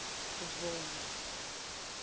vondwe